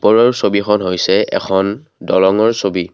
ওপৰৰ ছবিখন হৈছে এখন দলঙৰ ছবি।